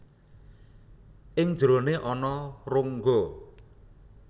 Ing njerone ana rongga